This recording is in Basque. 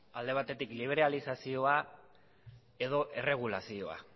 alde batetik liberalizazioa edo erregulazioa